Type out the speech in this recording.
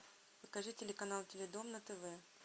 покажи телеканал теледом на тв